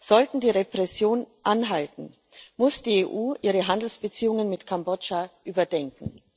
Sollten die Repressionen anhalten, muss die EU ihre Handelsbeziehungen mit Kambodscha überdenken.